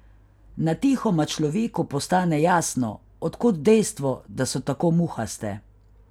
Natihoma človeku postane jasno, od kod dejstvo, da so tako muhaste.